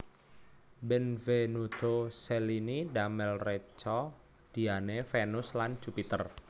Benvenuto Cellini damel reca Diane Vénus lan Jupiter